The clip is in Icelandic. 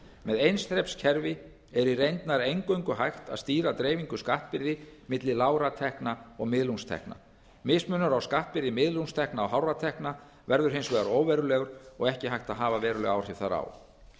með eins þreps kerfi er í reynd nær eingöngu hægt að stýra dreifingu skattbyrði milli lágra tekna og miðlungstekna mismunur á skattbyrði miðlungstekna og hárra tekna verður hins vegar óverulegur og ekki hægt að hafa veruleg áhrif þar á